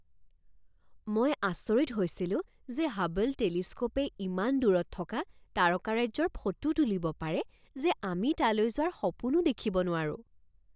মই আচৰিত হৈছিলো যে হাবল টেলিস্ক'পে ইমান দূৰত থকা তাৰকাৰাজ্যৰ ফটো তুলিব পাৰে যে আমি তালৈ যোৱাৰ সপোনো দেখিব নোৱাৰো!